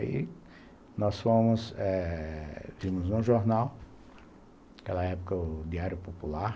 Aí nós fomos eh, vimos no jornal, naquela época o Diário Popular,